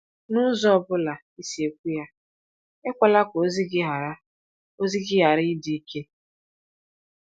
N’ụzọ ọ bụla ị si ekwu ya, e kwela ka ozi gị ghara ozi gị ghara ịdị ike.